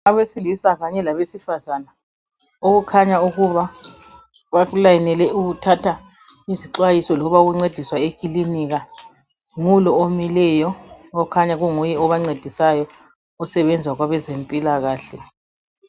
Abasilisa kanye labesifazana, okukhanya ukuba balayinele ukuthatha izixwayiso loba ukuncediswa ekilinika. Ngu lo omileyo, okhanya kunguye obancedisayo osebenza kwezabempilakahle.